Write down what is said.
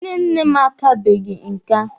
Nne nne m akabeghi nka.